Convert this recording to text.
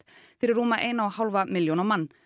fyrir rúma eina og hálfa milljón á mann